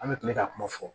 An bɛ kile ka kuma fɔ